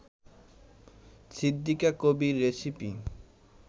Siddika Kabir recipe